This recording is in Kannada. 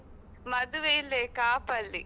ಮದುವೆ ಇಲ್ಲೆ ಕಾಪಲ್ಲಿ.